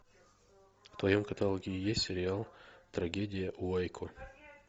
в твоем каталоге есть сериал трагедия в уэйко